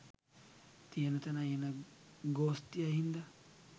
තියෙන තැනයි එන ගෝස්තියයි හින්දා